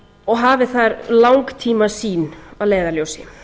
og hafi þar langtímasýn að leiðarljósi